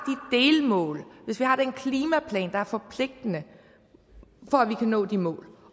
delmål hvis vi har den klimaplan der er forpligtende for at vi kan nå de mål